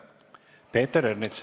Peeter Ernits.